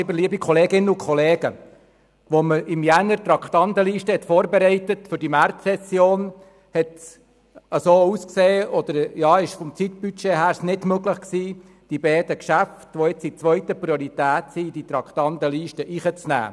Als wir im Januar die Traktandenliste für die Märzsession vorbereiteten, war absehbar, dass die beiden Geschäfte aus zeitlichen Gründen nicht mehr in die Traktandenliste aufgenommen werden können.